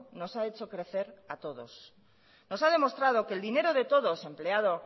nos ha hecho crecer a todos nos ha demostrado que el dinero de todos empleado